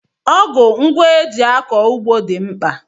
Ọgụ ngwa eji akọ ugbo dị mkpa.